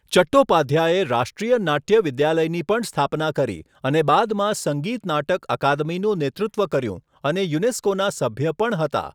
ચટ્ટોપાધ્યાયે રાષ્ટ્રીય નાટ્ય વિદ્યાલયની પણ સ્થાપના કરી અને બાદમાં સંગીત નાટક અકાદમીનું નેતૃત્વ કર્યું, અને યુનેસ્કોના સભ્ય પણ હતા.